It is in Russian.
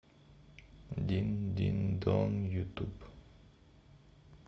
дин дин дон ютуб